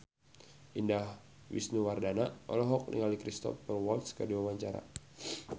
Indah Wisnuwardana olohok ningali Cristhoper Waltz keur diwawancara